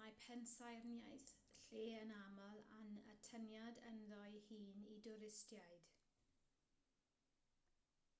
mae pensaernïaeth lle yn aml yn atyniad ynddo'i hun i dwristiaid